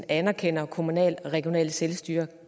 anerkender kommunalt og regionalt selvstyre